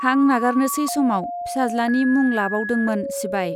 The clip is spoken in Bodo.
हां नागारनोसै समाव फिसाज्लानि मुं लाबावदोंमोन सिबाइ।